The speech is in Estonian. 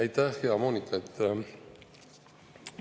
Aitäh, hea Moonika!